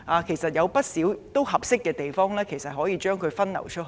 其實，香港有不少適合的地方，可以把旅客分流到這些地方。